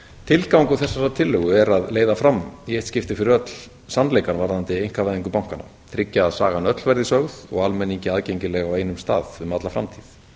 tilgangur þessarar tillögu er að leiða fram í eitt skipti fyrir öll sannleikann varðandi einkavæðingu bankanna tryggja að sagan öll verði sögð og almenningi aðgengileg á einum stað um alla framtíð